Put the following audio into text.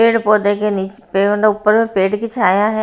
पेड़ पौधे के नीचे पेड़ ने ऊपर में पेड़ की छाया है।